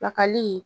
Pilakali